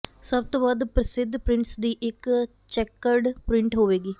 ਸਭ ਤੋਂ ਵੱਧ ਪ੍ਰਸਿੱਧ ਪ੍ਰਿੰਟਸ ਦੀ ਇੱਕ ਚੈੱਕਰਡ ਪ੍ਰਿੰਟ ਹੋਵੇਗੀ